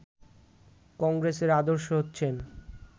কংগ্রেসের আদর্শ হচ্ছেন